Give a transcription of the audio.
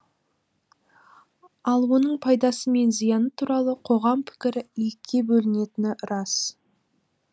ал оның пайдасы мен зияны туралы қоғам пікірі екіге бөлінетіні рас